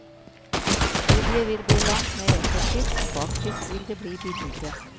Studiet vil bli langt mer effektivt, og faktisk vil det bli billigere.